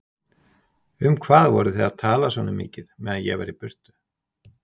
Um hvað voruð þið að tala svona mikið meðan ég var í burtu?